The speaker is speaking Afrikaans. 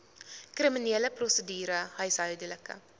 kriminele prosedure huishoudelike